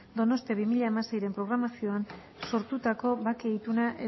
donostia bi mila hamaseiren programazioan sartutako bake ituna